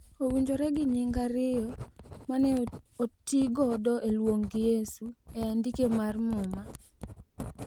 owinjore gi nying ariyo ma ne otigodo e luongo Yesu e andike mar muma. .